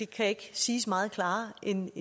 kan ikke siges meget klarere end